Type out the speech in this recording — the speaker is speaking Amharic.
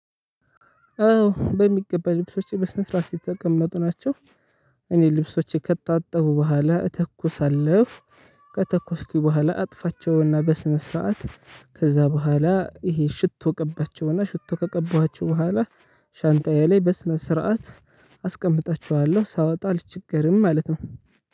አዎ በሚገባ ልብሶቼ በስነ ስርዓት የተቀመጡ ናቸው። እኔ ልብሶቼ ከታጠቡ በኋላ እተኩሳለው ከተኮስኩኝ በኋላ አጥፋቸውና በስነ ስርዓት ከዛ በኋላ ይሄ ሽቶ ቀባቸው እና ሽቶ ከቀባችሁ በኋላ ሻንጣዬ ላይ በስነ ስርዓት አስቀምጣቸኋለሁ ሳወጣ አልቸገርም ማለት ነው።